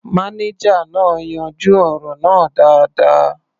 Mánéjà náà yanjú ọ̀rọ̀ náà dáadáa.